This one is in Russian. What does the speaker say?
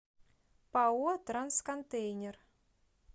пао трансконтейнер